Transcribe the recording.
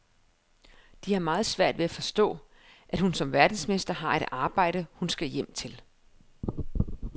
De har meget svært ved at forstå, at hun som verdensmester har et arbejde, hun skal hjem til.